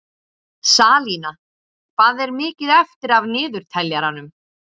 Salína, hvað er mikið eftir af niðurteljaranum?